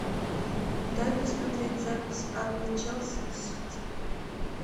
дай посмотреть запись апл челси и сити